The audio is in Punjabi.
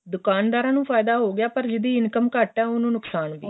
ਦੁਕਾਨਦਾਰਾ ਨੂੰ ਫਾਇਦਾ ਹੋ ਗਿਆ ਪਰ ਜਿਹਦੀ income ਘੱਟ ਏ ਉਹਨੂੰ ਨੁਕਸ਼ਾਨ ਹੋ ਗਿਆ